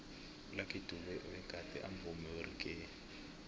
ulucky dube begade amvumi weraggae